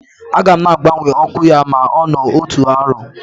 Aga m na-agbanwe ọkụ ya ma ọ nọọ otu arọ.